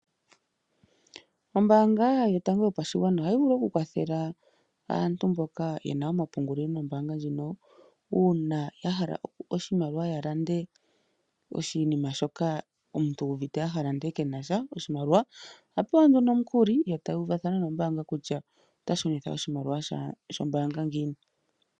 Ombaanga yotango yopashigwana oha yi vulu oku kwathela aantu mboka ye na omapungulilo mombaanga ndyoka. Uuna omuntu a hala oku landa oshinima ndele kenasha oshimaliwa, oha pewa nduno omukuli yo ta ya uvathana nombaanga kutya, ota shunitha oshimaliwa shombaanga ngiini.